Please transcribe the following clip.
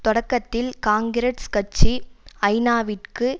தொடக்கத்தில் காங்கிரஸ் கட்சி ஐநாவிற்கு